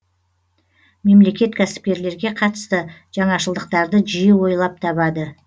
мемлекет кәсіпкерлерге қатысты жаңашылдықтарды жиі ойлап табады